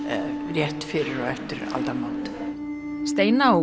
rétt fyrir og eftir aldamót steina og